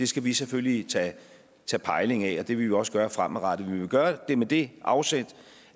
skal vi selvfølgelig tage pejling af og det vil vi også gøre fremadrettet vi vil gøre det med det afsæt